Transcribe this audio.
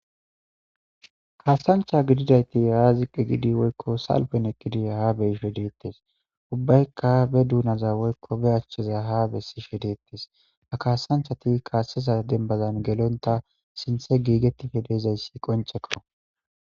Kaasancha gididayti haa ziqqe gidi woykko salpen eqqidi haa beshe deettes ubbaykka be duunaza woykko be achcheza ha bessishe deettes a kaasanchati kaaseza dembazan gelonta sinthe giigettife deezayssi qonchekko.